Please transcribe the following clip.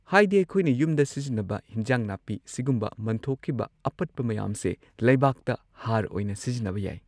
ꯍꯥꯏꯗꯤ ꯑꯩꯈꯣꯢꯅ ꯌꯨꯝꯗ ꯁꯤꯖꯤꯟꯅꯕ ꯍꯤꯟꯖꯥꯡ ꯅꯥꯄꯤ ꯁꯤꯒꯨꯝꯕ ꯃꯟꯊꯣꯛꯈꯤꯕ ꯑꯄꯠꯄ ꯃꯌꯥꯝꯁꯦ ꯂꯩꯕꯥꯛꯇ ꯍꯥꯔ ꯑꯣꯏꯅ ꯁꯤꯖꯤꯟꯅꯕ ꯌꯥꯏ꯫